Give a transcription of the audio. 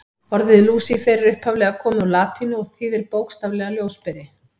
Orðið Lúsífer er upphaflega komið úr latínu og þýðir bókstaflega ljósberi.